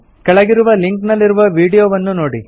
ಕೆಳಗಿರುವ ಲಿಂಕ್ ನಲ್ಲಿರುವ ವೀಡಿಯೊವನ್ನು ನೋಡಿ